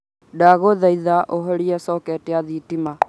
ndaguthaitha uhorie soketi ya thitima